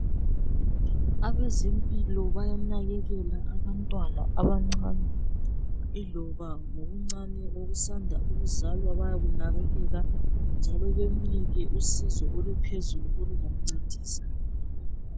Abezempilo bayanakekela abantwana abancane ,iloba ngokuncane okusanda ukuzalwa bayakunakekela .Njalo bemnike usizo oluphezulu olungamncedisa .